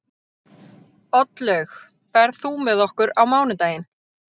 Oddlaug, ferð þú með okkur á mánudaginn?